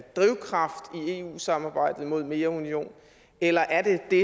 drivkraft i eu samarbejdet mod mere union eller er det det